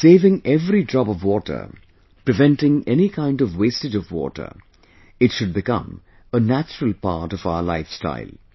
Saving every drop of water, preventing any kind of wastage of water... it should become a natural part of our lifestyle